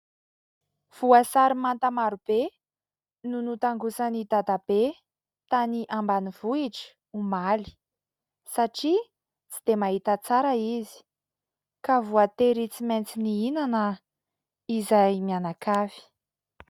Voasary manta maro be no notangosan'i Dadabe tany ambanivohitra omaly satria tsy dia mahita tsara izy. Ka voatery tsy maintsy nihinana izahay mianakavy.